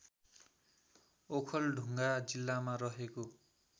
ओखलढुङ्गा जिल्लामा रहेको